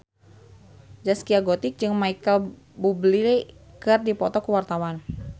Zaskia Gotik jeung Micheal Bubble keur dipoto ku wartawan